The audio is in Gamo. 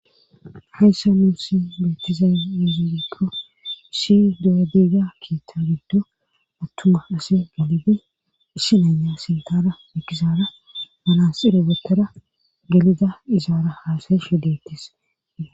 Hayssa nuunsi meetiza miziirkko ishi do7adiga kiitta giddo attuma ase gelibi issi naya sintara mikizaara manaasire betera gelida izaara haasayi shu deettes.